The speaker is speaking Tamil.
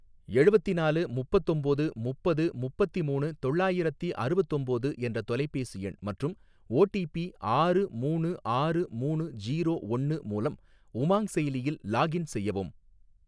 எழுவத்தினாலு முப்பத்தொம்போது முப்பது முப்பத்திமூணு தொள்ளாயிரத்தி அறுவத்தொம்போது என்ற தொலைபேசி எண் மற்றும் ஓ டி பி ஆறு மூணு ஆறு மூணு ஜீரோ ஒன்னு மூலம் உமாங் செயலியில் லாக்இன் செய்யவும்.